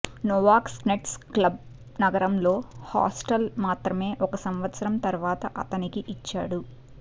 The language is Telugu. నోవొకస్నెట్స్క్ క్లబ్ నగరంలో హాస్టల్ మాత్రమే ఒక సంవత్సరం తరువాత అతనికి ఇచ్చాడు